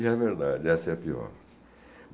E é verdade, essa é a pior.